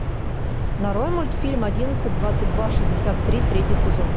нарой мультфильм одиннадцать двадцать два шестьдесят три третий сезон